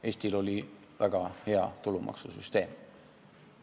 Eestil oli väga hea tulumaksusüsteem.